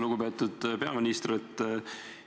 Lugupeetud peaminister!